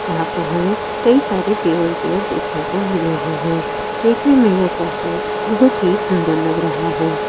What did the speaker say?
यहाँ पर हमें कई सारे टेबल चेयर देखने को मिले है देखने ये कैफ़े बहुत ही सुंदर लग रहा है।